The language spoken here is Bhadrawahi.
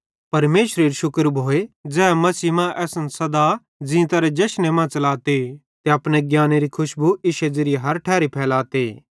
परमेशरेरू शुक्र भोए ज़ै मसीह मां सदा असन ज़ीतारे जशने मां च़लाते ते अपने ज्ञानेरे खुशबू इश्शे ज़िरिये हर ठैरी फैलाते